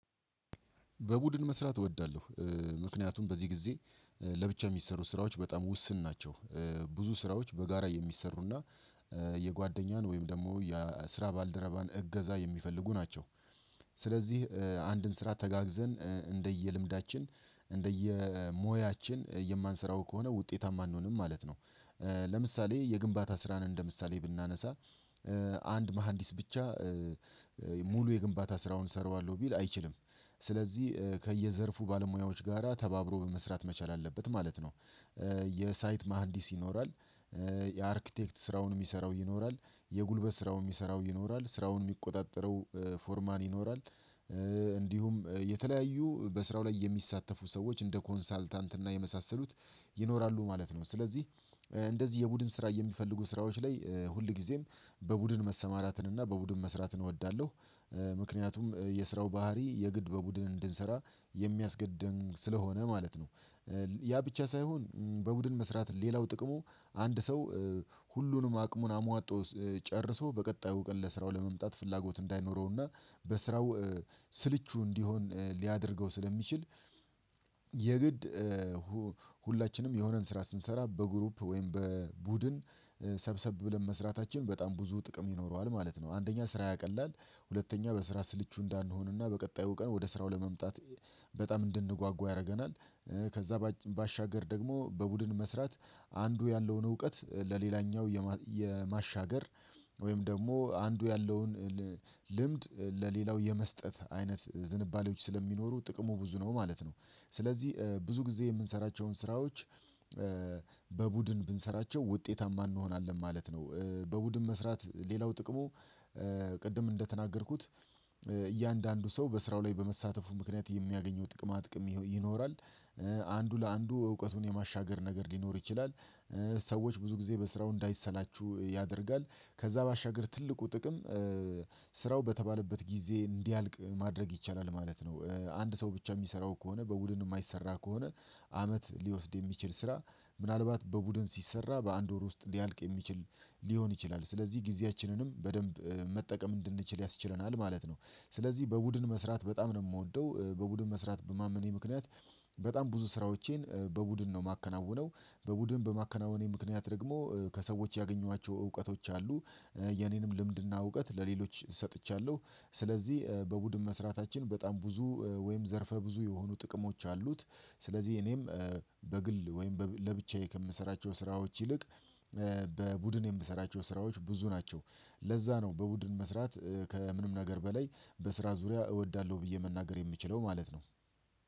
በቡድን መስራት እወዳለሁ ምክንያቱም በዚህ ጊዜ ለብቻ የሚሰሩ ስራዎች በጣም ውስን ናቸው። ብዙ ስራዎች በጋራ የሚሰሩና የጓደኛን ወይም ደግሞ የስራ ባልደረባን እገዛ የሚፈልጉ ናቸው። ስለዚህ አንድን ስራ ተጋግዘን እንደየልምዳችን እንደየሞያችን የማንሰራው ከሆነ ውጤታማ አንሆንም ማለት ነው። ለምሳሌ የግንባታ ስራን እንደ ምሳሌ ብናነሳ አንድ መሃንዲስ ብቻ ሙሉ የግንባታ ስራውን እሰራዋለሁ ሊል አይችልም። ስለዚህ ከየዘርፉ ባለሙያዎች ጋራ ተባብሮ መስራት መቻል አለበት ማለት ነው። የሳይት መሃንዲስ ይኖራል። የአርክቴክት ስራውን የሚሰራው ይኖራል የጉልበት ስራውን የሚሰራው ይኖራል ስራውን የሚቆጣጠረው ፎርማን ይኖራል። እንዲሁም የተለያዩ በስራው ላይ የሚሳተፉ ሰዎች እንደ ኮንሳልታንት እና የመሳሰሉት ይኖራሉ ማለት ነው። ስለዚህ እንደዚህ የቡድን ስራ የሚፈልጉ ስራዎች ላይ ሁልጊዜም በቡድን መሰማራትን እና በቡድን መስራትን እወዳለሁ። ምክንያቱም የስራው ባህሪ የግድ በቡድን እንድንሰራ የሚያስገድድም ስለሆነ ማለት ነው። ያ ብቻ ሳይሆን በቡድን መስራት ሌላው ጥቅሙ አንድ ሰው ሁሉንም አቅሙን አሟጦ ጨርሶ በቀጣዩ እውቀት ለስራው ለመምጣት ፍላጎት እንዳይኖረውና በስራው ስልቹ እንዲሆን ሊያደርገው ስለሚችል። የግድ ሁላችንም የሆነን ስራ ስንሰራ በግሩፕ ወይም በቡድን ሰብሰብ ብለን መስራታችን በጣም ብዙ ጥቅም ይኖረዋል ማለት ነው። አንደኛ ስራ ያቀላል ሁለተኛ በስራ ስልቹ እንዳንሆንና በቀጣዩ ቀን ወደ ስራው ለመምጣት በጣም እንድንጓጉ ያረገናል። ከዛ ባሻገር ደግሞ በቡድን መስራት አንዱ ያለውን እውቀት ለሌላኛው የማሻገር ወይም ደግሞ አንዱ ያለውን ልምድ ለሌላው የመስጠት አይነት ዝንባሌዎች ስለሚኖሩ ጥቅሙ ብዙ ነው ማለት ነው። ስለዚህ ብዙ ጊዜ የምንሰራቸውን ስራዎች በቡድን ብንሰራቸው ውጤታማ እንሆናለን ማለት ነው። በቡድን መስራት ሌላው ጥቅሙ ቅድም እንደተናገርኩት እያንዳንዱ ሰው በስራው ላይ በመሳተፉ ምክንያት የሚያገኘው ጥቅማጥቅም ይኖራል። አንዱ ለአንዱ እውቀቱን የማሻገር ነገር ሊኖር ይችላል። ሰዎች ብዙ ጊዜ በስራው እንዳይሰላቹ ያደርጋል። ከዛ ባሻገር ትልቁ ጥቅም ስራው በተባለበት ጊዜ እንዲያልቅ ማድረግ ይቻላል ማለት ነው። አንድ ሰው ብቻ የሚሰራው ከሆነ በቡድን የማይሰራ ከሆነ አመት ሊወስድ የሚችል ስራ ምናልባት በቡድን ሲሰራ በአንድ ወር ውስጥ ሊያልቅ የሚችል ሊሆን ይችላል ስለዚህ ጊዜያችንንም በደንብ መጠቀም እንድንችል ያስችለናል ማለት ነው። ስለዚህ በቡድን መስራት በጣም ነው ምወደው በቡድን መስራት በማመኔ ምክንያት በጣም ብዙ ስራዎቼን በቡድን ነው ማከናውነው። በቡድን በማከናወኔ ምክንያት ደግሞ ከሰዎች ያገኟቸው እውቀቶች አሉ። የኔንም ልምድና እውቀት ለሌሎች ሰጥቻለሁ። ስለዚህ በቡድን መስራታችን በጣም ብዙ ወይም ዘርፈ ብዙ የሆኑ ጥቅሞች አሉት። ስለዚህ እኔም በግል ወይም ለብቻዬ ከምሰራቸው ስራዎች ይልቅ በቡድን የምሰራቸው ስራዎች ብዙ ናቸው። ለዛ ነው በቡድን መስራት ከምንም ነገር በላይ በስራ ዙሪያ እወዳለሁ ብዬ መናገር የምችለው ማለት ነው